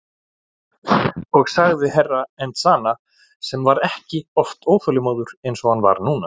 Og sagði Herra Enzana sem var ekki oft óþolinmóður eins og hann var núna.